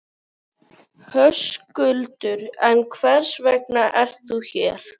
Höskuldur: En hvers vegna ert þú hér?